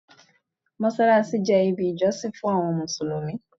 Mossalassi jẹ ibi ijosin fun awọn Musulumi